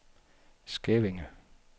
Skævinge